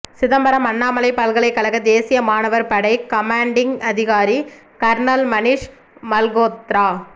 சிதம்பரம் அண்ணாமலை பல்கலைக்கழக தேசிய மாணவர் படை கமான்டிங் அதிகாரி கர்னல் மனிஷ் மல்கோத்ரா